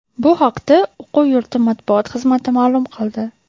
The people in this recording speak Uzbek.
Bu haqda o‘quv yurti matbuot xizmati ma’lum qildi .